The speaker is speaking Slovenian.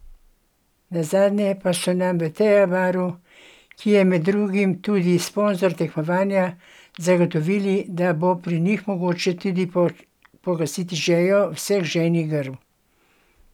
Nenazadnje pa so nam v Teja baru, ki je med drugim tudi sponzor tekmovanja, zagotovili da bo pri njih mogoče tudi pogasiti žejo vseh žejnih grl!